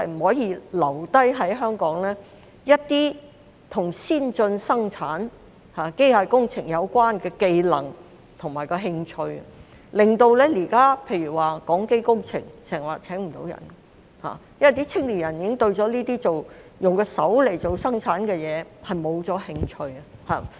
第二，一些與先進生產機械工程有關的技能和興趣在社會上流失，令到現時例如港機工程經常聘請不到人手，因為青年人已經對這些用手生產的工作失去興趣。